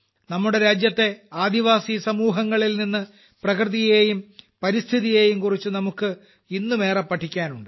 നമ്മുടെ രാജ്യത്തെ ആദിവാസി സമൂഹങ്ങളിൽനിന്ന് പ്രകൃതിയേയും പരിസ്ഥിതിയേയുംക്കുറിച്ച് നമുക്ക് ഇന്നും ഏറം പഠിക്കാനുണ്ട്